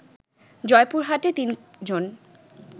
জয়পুরহাটে তিন জন